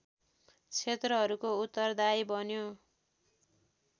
क्षेत्रहरूको उत्तरदायी बन्यो